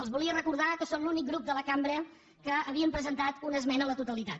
els volia recordar que són l’únic grup de la cambra que havien presentat una esmena a la totalitat